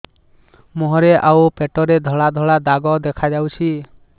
ମୁହଁରେ ଆଉ ପେଟରେ ଧଳା ଧଳା ଦାଗ ଦେଖାଯାଉଛି